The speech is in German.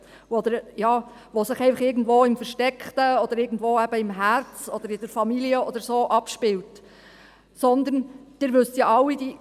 Das spielt sich nicht nur im Herzen oder in der Familie ab, sondern Sie wissen es alle: